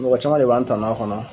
Mɔgɔ caman de b'an tanu a kɔnɔ.